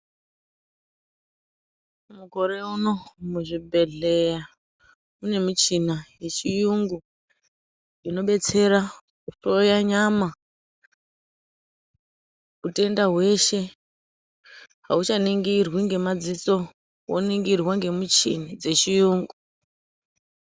Mukore uno muzvibhedhlera mune michina yechiyungu inobetsera kuhloya nyama , utenda hweshe ,auchaningirwi ngemadziso woningirwa ngemichini dzechiyungu.